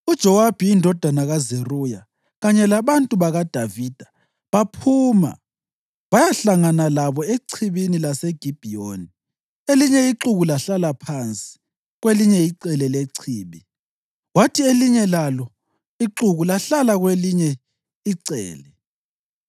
UJowabi indodana kaZeruya kanye labantu bakaDavida baphuma bayahlangana labo echibini laseGibhiyoni. Elinye ixuku lahlala phansi ngakwelinye icele lechibi kwathi elinye lalo ixuku lahlala ngakwelinye icele.